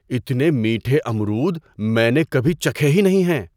اتنے میٹھے امرود میں نے کبھی چکھے ہی نہیں ہیں۔